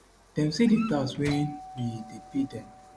dem say di tax wey we dey pay dem